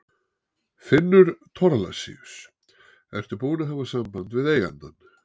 Finnur Thorlacius: Ertu búinn að hafa samband við eigandann?